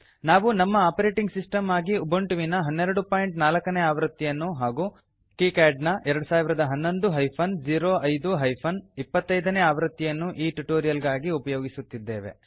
ನಾವು ನಮ್ಮ operating system ಆಗಿ ಉಬುಂಟುವಿನ 1204 ನೇ ಆವೃತ್ತಿಯನ್ನು ಹಾಗೂ ಕೀಕ್ಯಾಡ್ ನ 2011 ಹೈಫನ್ 05 ಹೈಫನ್ 25 ನೇ ಆವೃತ್ತಿಯನ್ನು ಈ ಟ್ಯುಟೋರಿಯಲ್ ಗಾಗಿ ಉಪಯೋಗಿಸುತ್ತಿದ್ದೇವೆ